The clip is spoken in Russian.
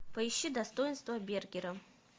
поищи достоинство бергера